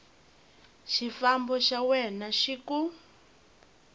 xifambo xa wena xi ku